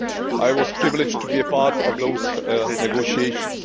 I was privileged to be a part of those negotiations.